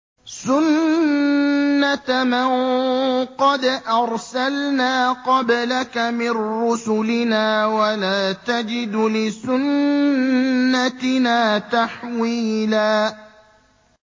سُنَّةَ مَن قَدْ أَرْسَلْنَا قَبْلَكَ مِن رُّسُلِنَا ۖ وَلَا تَجِدُ لِسُنَّتِنَا تَحْوِيلًا